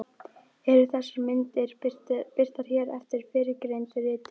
Eru þessar myndir birtar hér eftir fyrrgreindu riti.